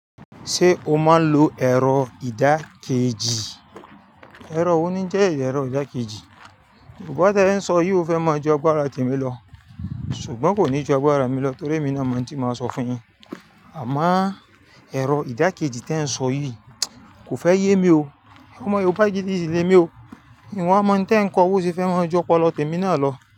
Ṣé o máa ń lo ẹ̀rọ ìdákẹ́jì? Ẹ̀rọ owó ni jẹ́ ẹ̀rọ ìdákẹ́jì. Yoobá tí ẹ ń sọ yii o fẹ́ máa ju agbara tèmi lọ. Ṣùgbọ́n kò ní ju apá ara mi lọ torí èmi náà máa ń ti máa sọ fún yín. Àmá ẹ̀rọ ìdákẹ́jì tí ẹ ń sọ yii kò fẹ́ yé mi o. Ọmọ yoobà gidi sí lé mi o. Ìnwa mọ́ tí ẹ ń kọ ó sè fẹ́ máa ju ọpọ̀lọ tèmi náà lọ.